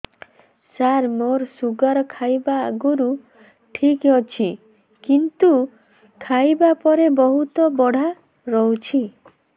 ସାର ମୋର ଶୁଗାର ଖାଇବା ଆଗରୁ ଠିକ ଅଛି କିନ୍ତୁ ଖାଇବା ପରେ ବହୁତ ବଢ଼ା ରହୁଛି